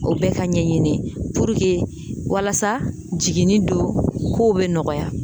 O bɛɛ ka ɲɛɲini walasa jiginni don kow be nɔgɔya